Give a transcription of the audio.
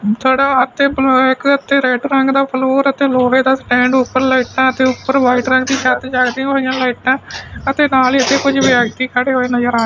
ਥੜਾ ਅਤੇ ਰੇਡ ਰੰਗ ਦਾ ਫਲੋਰ ਤੇ ਲੋਹੇ ਦਾ ਸਟੈਂਡ ਓਪਰ ਲਾਈਟਾਂ ਤੇ ਉੱਪਰ ਵਾਈਟ ਰੰਗ ਦੀਆਂ ਜਲਦੀਆਂ ਹੋਈਆਂ ਲਾਈਟਾਂ ਅਤੇ ਨਾਲ ਹੀ ਅਸੀਂ ਕੁਝ ਵਿਅਕਤੀ ਖੜੇ ਹੋਏ ਨਜ਼ਰ ਆ